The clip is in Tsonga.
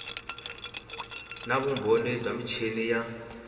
na vumbhoni bya michini ya